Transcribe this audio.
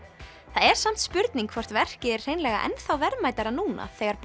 það er samt spurning hvort verkið er hreinlega enn þá verðmætara núna þegar